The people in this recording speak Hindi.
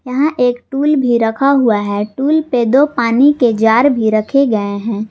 यहां एक टूल भी रखा हुआ है टूल पे दो पानी के जार भी रखे रखे हैं।